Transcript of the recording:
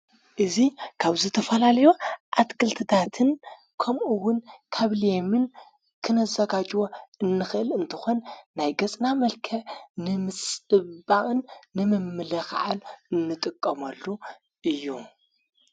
እዙ ካብዝተፈላልዮ ኣትክልትታትን ከምኡውን ካብልየምን ክነዘጋጅዎ እንኽእል እንተኾን ናይ ገጽና መልከ ንምስባቕን ንምምለ ኸዓል እንጥቀሞሉ እዩ።